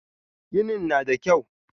Ginin na da kyau.